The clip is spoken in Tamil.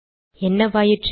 என்னவாயிற்று